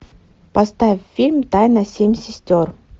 поставь фильм тайна семь сестер